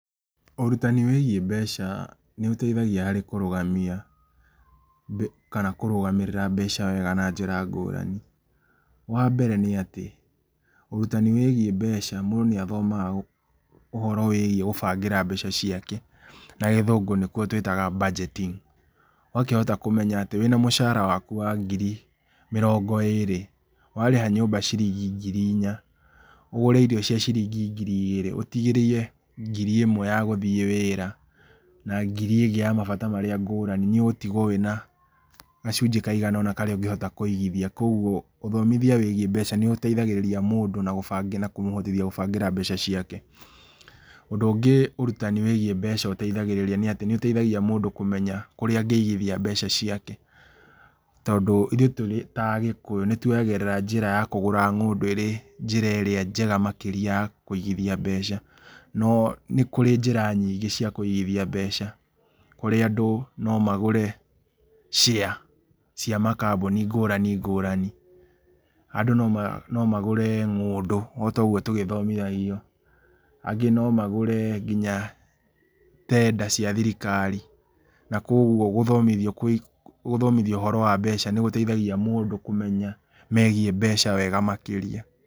Ũrutani wĩgiĩ mbeca, nĩ ũteithaigia harĩ kũrũgamia kana kũrũgamĩrĩra mbeca wega na njĩra ngũrani. Wambere nĩatĩ, ũrutani wĩgiĩ mbeca, mũndũ nĩ athomaga ũhoro wĩgiĩ gũbangĩra mbeca ciake, nagĩthũngũ nĩguo tũĩtaga budgeting, ũgakĩhota kũmenya wĩna mũcara waku wa ngĩri mĩrongo ĩrĩ, warĩha nyũmba ciringi ngiri ĩnya, ũgũre irio cia ngiri igĩrĩ, ũtigĩrie ngiri ĩmwe ya gũthiĩ wĩra, na ngiri ĩngĩ ya mabata marĩa ngũrani, nĩ ũgũtigwo wĩna gacunjĩ kaiga ona, karĩa ũngĩhota kũigithia, koguo ũthomithia wĩgiĩ mbeca nĩ ĩteithagĩrĩria mũndũ na kũmũhotithia mũndũ gũbangĩra mbeca ciake. Ũndũ ũngĩ ũrutani wĩgiĩ mbeca ũteithagia nĩatĩ, nĩ ũteithagia mũndũ kũmenya kũrĩa angĩigithia mbeca ciake. Tondũ ithuĩ twĩta Agĩkũyũ, nĩ tuoyagĩrĩra njĩra ya kũgũra ng'ũndũ ĩrĩ, njĩra ĩrĩa njega makĩria ya kũigithia mbeca. No nĩ kũrĩ njĩra nyingĩ cia kũigithia mbeca, kũrĩa andũ nomagũra share cia makambuni ngũrani ngũrani. Andũ nomagũre ng'ũndũ otoguo tũthomithagio, angĩ nomagũre ngina tender cia thirikari, na koguo gũthomithio ũhoro wambeca nĩ gũteithagia maũndũ megiĩ mbeca wega makĩria.